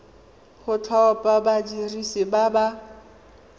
go thapa badiri ba ba